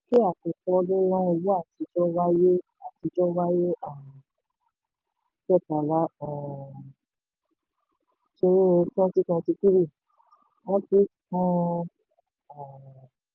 àtijọ́ wáyé àtijọ́ wáyé um kẹtàlá um kínní twenty twenty three wọ́n tún um